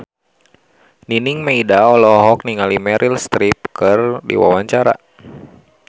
Nining Meida olohok ningali Meryl Streep keur diwawancara